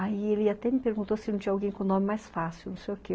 Aí ele até me perguntou se não tinha alguém com nome mais fácil, não sei o quê.